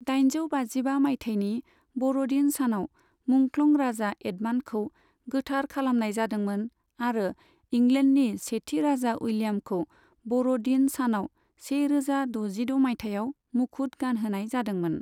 दाइनजौ बाजिबा मायथाइनि ब'र'दिन सानाव मुंख्लं राजा एडमान्डखौ गोथार खालामनाय जादोंमोन आरो इंलेन्डनि सेथि राजा उइलियामखौ ब'र'दिन सानाव से रोजा दजिद' मायथाइयाव मुखुद गानहोनाय जादोंमोन।